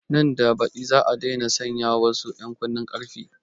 Nan da baɗi za a daina sanya wasu ƴan kunnen ƙarfen